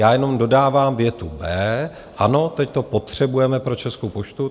Já jenom dodávám větu B, ano, teď to potřebujeme pro Českou poštu.